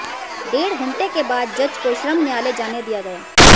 डेढ़ घण्टे के बाद जज को श्रम न्यायालय जाने दिया गया